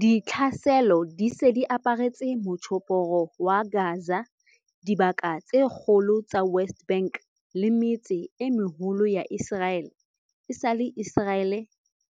Ditlhaselo di se di aparetse Motjhophoro wa Gaza, dibaka tse kgolo tsa West Bank le metse e meholo ya Iseraele esale